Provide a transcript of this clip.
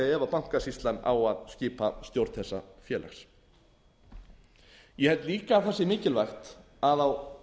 bankasýslan á að skipa stjórn þessa félags ég held líka að það sé mikilvægt að á